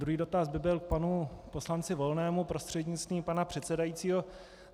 Druhý dotaz by byl k panu poslanci Volnému prostřednictvím pana předsedajícího.